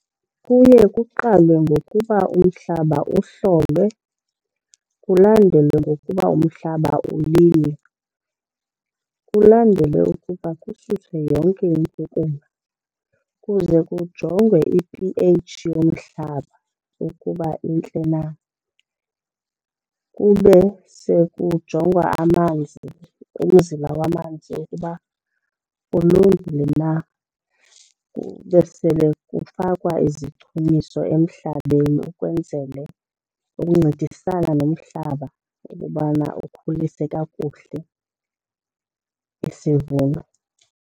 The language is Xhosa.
Kuye kuqalwe ngokuba umhlaba uhlolwe kulandelwe ngokuba umhlaba ulinywe. Kulandele ukuba kususwe yonke inkukuma kuze kujongwe i-p_H yomhlaba ukuba intle na. Kube sekujongwa amanzi, umzila wamanzi ukuba ulungile na, kube sele kufakwa izichumiso emhlabeni ukwenzele uncedisana nomhlaba ukubana ukhulise kakuhle isivuno.